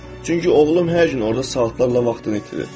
Çünki oğlum hər gün orda saatlarla vaxtını itirir.